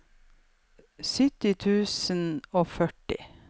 syttini tusen og førti